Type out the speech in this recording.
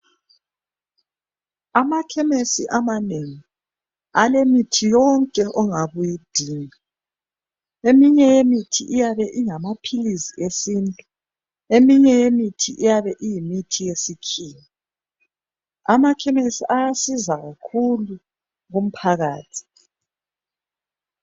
Amakhemesi amanengi alemiithi yonke ongabe uyidinga. Eminye yemithi iyabe ingamaphilisi esintu, eminye yemithi iyabe iyimithi yesikhiwa. Amakhemesi ayasiza kakhulu kumphakathi.